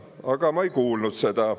Aga ma ei kuulnud seda.